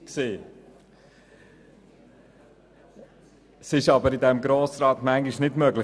Dies ist jedoch im Grossen Rat nicht immer möglich.